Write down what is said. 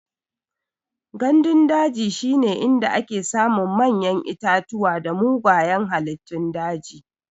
Gandun daji shine inda ake samun manyan itatuwa da mugayan halittun daji.